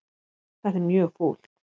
Þetta er mjög fúlt.